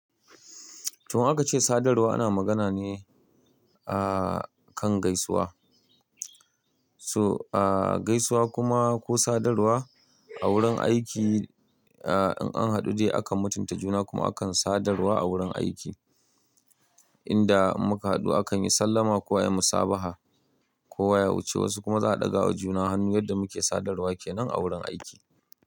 Toh, aka ce sadarwa ana magana ne a kan gaisuwa. So, a gaisuwa kuma ko sadarwa a wurin aiki, ah in an haɗu dai akan mutunta juna kuma akan sadarwa a wurin aiki. Inda muka haɗu akan yi sallama ko ai musabaha, kowa ya wuce wasu kuma za a ɗaga wa juna hannu yadda muke sadarwa kenan a wurin aiki.